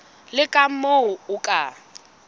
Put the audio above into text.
le ka moo o ka